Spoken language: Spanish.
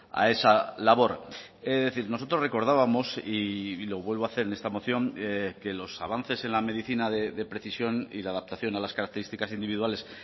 a esa labor es decir nosotros recordábamos y lo vuelvo a hacer en esta moción que los avances en la medicina de precisión y la adaptación a las características individuales